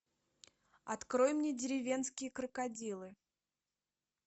открой мне деревенские крокодилы